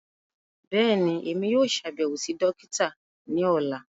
Bẹ́ẹ̀ni, Emi yóò ṣabẹwo si dokita ni ọla.